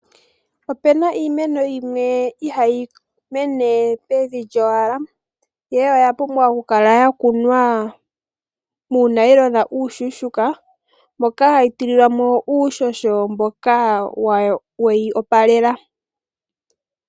Opena iimeno yimwe ihayi mene pevi lyowala, ihe oya pumbwa oku kala yakunwa muunayilona uushushuka, moka hayi tililwamo uushosho mboka weyi opalela.